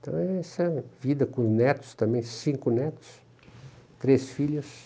Então essa é a vida com os netos também, cinco netos, três filhas.